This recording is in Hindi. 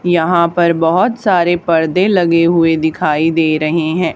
यहां पर बहुत सारे पर्दे लगे हुए दिखाई दे रहे हैं।